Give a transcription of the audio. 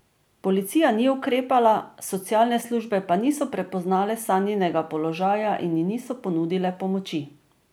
Policija ni ukrepala, socialne službe pa niso prepoznale Sanjinega položaja in ji niso ponudile pomoči.